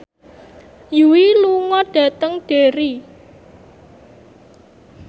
Yui lunga dhateng Derry